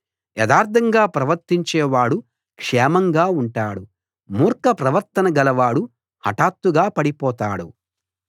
యథార్థంగా ప్రవర్తించేవాడు క్షేమంగా ఉంటాడు మూర్ఖప్రవర్తన గలవాడు హఠాత్తుగా పడిపోతాడు